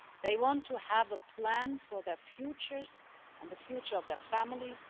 They want to have a plan for their futures and the future of their families.